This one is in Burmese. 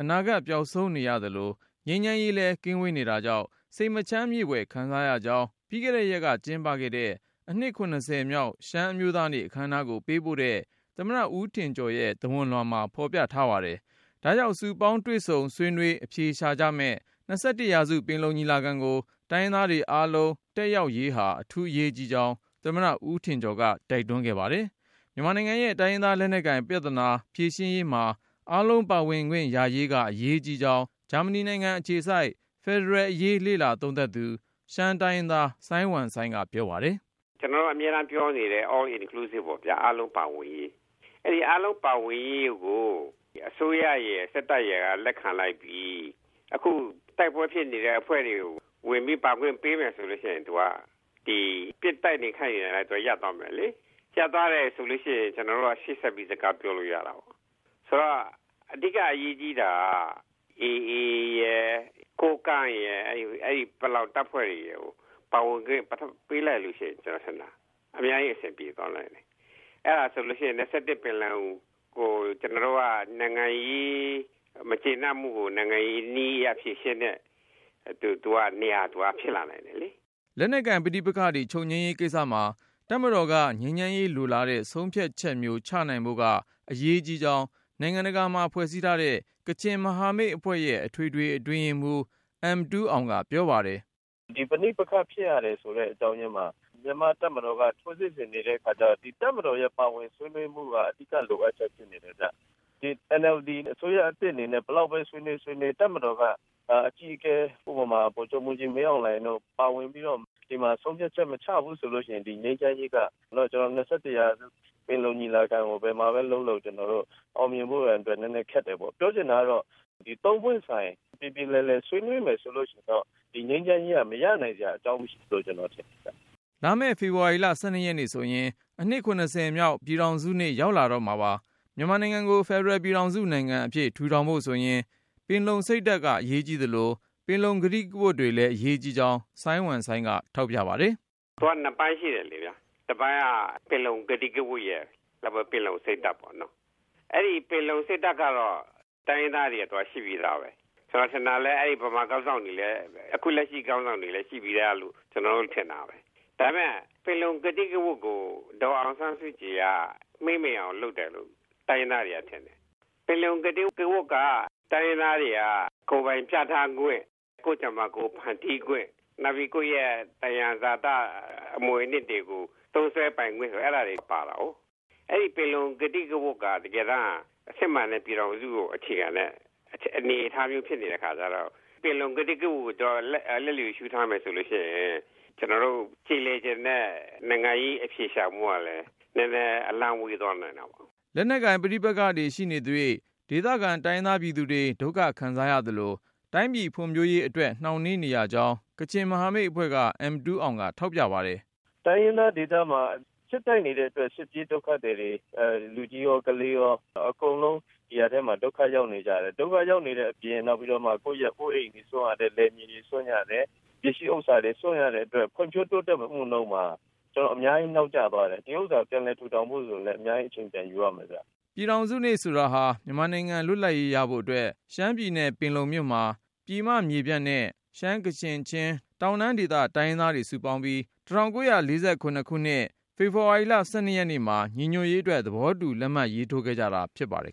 အနာဂတ် ပျောက်ဆုံးနေရသလို - ငြိမ်းချမ်းရေးလည်း ကင်းဝေးနေတာကြောင့် စိတ်မချမ်းမြေ့ဖွယ် ခံစားရကြောင်း ပြီးခဲ့တဲ့ရက်က ကျင်းပခဲ့တဲ့ အနှစ် ၇၀ မြောက် ရှမ်းအမျိုးသားနေ့ အခမ်းအနားကိုပေးပို့တဲ့ သမ္မတ ဦးထင်ကျော်ရဲ့ သဝဏ်လွှာမှာ ဖော်ပြထားပါတယ်။ ဒါကြောင့် စုပေါင်း တွေ့ဆုံ ဆွေးနွေး အဖြေရှာကြမယ့် ၂၁ ရာစု ပင်လုံညီလာခံကို တိုင်းရင်းသားတွေ အားလုံး တက်ရောက်ရေးဟာ အထူး အရေးကြီးကြောင်း သမ္မတ ဦးထင်ကျော်က တိုက်တွန်းခဲ့ပါတယ်။ မြန်မာနိုင်ငံရဲ့ တိုင်းရင်းသား လက်နက်ကိုင်ပြဿနာ ဖြေရှင်းရေးမှာ အာလုံး ပါဝင်ခွင့်ရရေးက အရေးကြီးကြောင်း ဂျာမနီနိုင်ငံအခြေစိုက် ဖယ်ဒရယ်အရေး လေ့လာသုံးသပ်သူ ရှမ်းတိုင်းရင်းသား စိုင်းဝမ်စိုင်းက ပြောပါတယ်။ “ကျနော်တို့ အမြဲတမ်းပြောနေတဲ့ All Inclusive ပေါ့ဗျာ အားလုံးပါဝင်ရေး၊ အဲဒီအားလုံးပါဝင်ရေးကို အစိုးရရယ်၊ စစ်တပ်ရယ်က လက်ခံလိုက်ပြီ။ အခု တိုက်ပွဲဖြစ်နေတဲ့အဖွဲ့တွေကို ဝင်ပြီး ပါခွင့်ပေးမယ်ဆိုရင် သူက ပစ်နေတိုက်နေခိုက်နေတာတွေ ရပ်သွားမယ်လေ။ ရပ်သွားတယ်ဆိုရင် ကျနော်တို့က ဆက်ပြီး စကားပြောလို့ရတာပေ့ါ။ ဆိုတော့ အဓိကအရေးကြီးတာက AA ရယ်၊ ကိုးကန့်ရယ်၊ ပလောင်တပ်ဖွဲ့တွေရယ်ကို ပါဝင်ခွင့်ပေးလိုက်လို့ရှိရင် အများကြီး အဆင်ပြေသွားနိုင်တယ်။ အဲဒါဆိုရင် ၂၁ ပင်လုံကို ကျနော်တို့က နိုင်ငံရေးမကျေနပ်မှုကို နိုင်ငံရေးနည်းအရ ဖြေရှင်းတဲ့ နေရာ ဖြစ်လာနိုင်တယ်လေ။” လက်နက်ကိုင်ပဋိပက္ခတွေ ချုပ်ငြိမ်းရေးကိစ္စမှာ တပ်မတော်က ငြိမ်းချမ်းရေးလိုလားတဲ့ ဆုံးဖြတ်ချက်မျိုး ချနိုင်ဖို့က အရေးကြီးကြောင်း နိုင်ငံတကာမှာ ဖွဲ့စည်းထားတဲ့ ကချင်မဟာမိတ်အဖွဲ့ရဲ့ အထွေထွေအတွင်းရေးမှူး အမ်တူးအောင်က ပြောပါတယ်။ “ပဋိပက္ခဖြစ်ရတယ်ဆိုတဲ့ အကြောင်းရင်းမှာ မြန်မာ့တပ်မတော်က ထိုးစစ်ဆင်နေတဲ့အခါကျတော့ တပ်မတော်ရဲ့ ပါဝင်ဆွေးနွေးမှုက အဓိက လိုအပ်ချက်ဖြစ်နေတယ်ဗျ။ NLD အစိုးရသစ်အနေနဲ့ ဘယ်လောက်ပဲ ဆွေးနွေး၊ ဆွေးနွေး တပ်မတော်က အကြီးအကဲ ဥပမာ ဗိုလ်ချုပ်မှူးကြီး မင်းအောင်လှိုင်တို့ ပါဝင်ပြီးတော့ ဆုံးဖြတ်ချက် မချဘူးဆိုရင် ၂၁ ရာစု ပင်လုံညီလာခံကို ဘယ်မှာပဲလုပ်လုပ် အောင်မြင်ဖို့ရာ ခက်ပါတယ်။ ပြောချင်တာကတော့ သုံးပွင့်ဆိုင် ပြေပြေလည်လည် ဆွေးနွေးမယ်ဆိုရင်တော့ ငြိမ်းချမ်းရေးက မရနိုင်စရာ အကြောင်းမရှိဘူးလို့ ကျနော် ထင်ပါတယ်။” လာမယ့် ဖေဖော်ဝါရီ ၁၂ ရက်နေ့ဆိုရင် အနှစ် ၇၀ မြောက် ပြည်ထောင်စုနေ့ ရောက်လာတော့မှာပါ။ မြန်မာနိုင်ငံကို ဖယ်ဒရယ်ပြည်ထောင်စု နိုင်ငံအဖြစ် ထူထောင်ဖို့ဆိုရင် ပင်လုံစိတ်ဓာတ် အရေးကြီးသလို၊ ပင်လုံ ကတိကဝတ်တွေလည်း အရေးကြီးကြောင်း စိုင်းဝမ်စိုင်းက ထောက်ပြ ပါတယ်။ “သူက နှစ်ပိုင်းရှိတယ်လေဗျာ။ တပိုင်းက ပင်လုံ ကတိကဝတ်ရယ်၊ နောက်ပြီးတော့ ပင်လုံ စိတ်ဓာတ်ပေါ့နော်။ အဲဒီ ပင်လုံစိတ်ဓာတ်ကတော့ တိုင်းရင်းသားတွေအတွက် ရှိပြီးသားပဲ။ ကျနော်ထင်တာ ဗမာခေါင်းဆောင်တွေ အခု လက်ရှိခေါင်းဆောင်တွေလည်း ရှိပြီးသားလို့ ကျနော်တော့ ထင်တာပဲ။ ဒါပေမဲ့ ပင်လုံကတိကဝတ်ကို ဒေါ်အောင်ဆန်းစုကြည်က မှေးမှိန်အောင်လုပ်တယ်လို့ တိုင်းရင်းသားတွေက ထင်တယ်။ ပင်လုံ ကတိကဝတ်က တိုင်းရင်းသားတွေက ကိုယ်ပိုင်ပြဌာန်းခွင့်၊ ကိုယ့်ကြမ္မာ ကိုယ် ဖန်တီးခွင့်၊ နောက်ပြီး ကိုယ့်ရဲ့ သယံဇာတ အမွေအနှစ်တွေကို သုံးစွဲပိုင်ခွင့် အဲဒါတွေ ပါတာကိုး။ အဲဒီပင်လုံ ကတိကဝတ်က တကယ်တမ်းက စစ်မှန်တဲ့ ပြည်ထောင်စုကို အခြေခံတဲ့ အနေအထားမျိုး ဖြစ်နေတဲ့အခါကျတော့ ပင်လုံကတိကဝတ်ကို လျစ်လျူရှုထားမယ်ဆိုရင် ကျနော်တို့ ကျေလည်ချင်တဲ့ နိုင်ငံရေးအဖြေရှာမှုကလည်း နည်းနည်း အလှမ်းဝေးသွားနိုင်တာပေါ့။” လက်နက်ကိုင် ပဋိပက္ခတွေရှိနေသ၍ ဒေသခံ တိုင်းရင်းသားပြည်သူတွေ ဒုက္ခခံစားရသလို တိုင်းပြည်ဖွံ့ဖြိုးရေးအတွက် နှောင့်နှေးနေရကြောင်း ကချင်မဟာမိတ်အဖွဲ့က အမ်တူးအောင်က ထောက်ပြပါတယ်။ “တိုင်းရင်းသားဒေသမှာ စစ်တိုက်နေတဲ့အတွက် စစ်ပြေးဒုက္ခသည်တွေ လူကြီးရော၊ ကလေးရော၊ အကုန်လုံး ဒုက္ခရောက်နေကြတယ်။ ဒုက္ခရောက်နေတဲ့အပြင် ကိုယ့်ရဲ့ အိုးအိမ်တွေစွန့်ရတယ်။ လယ်မြေတွေ စွန့်ရတယ်။ ပစ္စည်းဥစ္စာတွေ စွန့်ရတဲ့အတွက် ဖွံ့ဖြိုးတိုးတက်မှုနှုန်းမှာ အများကြီး နောက်ကျသွားတယ်။ ဒီဥစ္စာ ပြန်လည်ထူထောင်ဖို့ဆိုရင်လည်း အများကြီး အချိန်ပြန်ယူရမယ်ဗျ။” ပြည်ထောင်စုနေ့ဆိုတာဟာ မြန်မာနိုင်ငံ လွတ်လပ်ရေးရဖို့အတွက် ရှမ်းပြည်နယ် ပင်လုံမြို့မှာ ပြည်မမြေပြန့်နဲ့ ရှမ်း၊ ကချင်၊ ချင်း တောင်တန်းဒေသ တိုင်းရင်းသားတွေ စုပေါင်းပြီး ၁၉၄၇ ဖေဖော်ဝါရီ ၁၂ ရက်နေ့မှာ ညီညွတ်ရေးအတွက် သဘောတူလက်မှတ်ထိုးခဲ့ကြတာဖြစ်ပါတယ်